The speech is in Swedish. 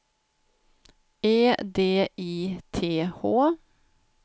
E D I T H